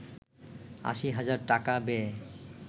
৮০ হাজার টাকা ব্যয়ে